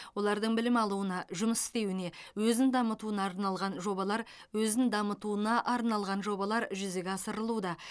олардың білім алуына жұмыс істеуіне өзін дамытуына арналған жобалар өзін дамытуына арналған жобалар жүзеге асырылуда